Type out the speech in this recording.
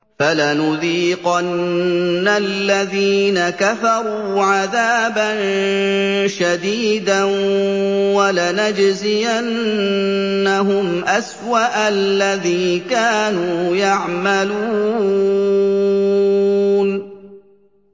فَلَنُذِيقَنَّ الَّذِينَ كَفَرُوا عَذَابًا شَدِيدًا وَلَنَجْزِيَنَّهُمْ أَسْوَأَ الَّذِي كَانُوا يَعْمَلُونَ